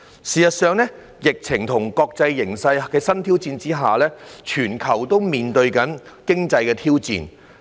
事實上，在疫情和國際形勢的新挑戰下，全球正面對經濟挑戰。